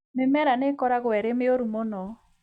Mĩmera nĩ ĩkoragwo ĩrĩ mĩũru mũno.